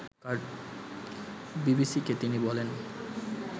বিবিসিকে তিনি বলেন